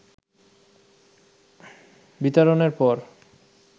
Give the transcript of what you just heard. বিতাড়নের পর